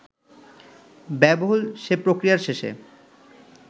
ব্যয়বহুল সে প্রক্রিয়ার শেষে